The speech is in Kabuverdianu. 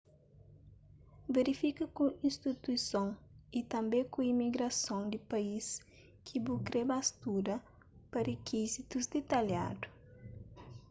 verifika ku istituison ytanbê ku imigrason di país ki bu kre ba studa pa rikizitus ditalhadu